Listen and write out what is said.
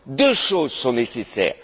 Deux choses sont nécessaires.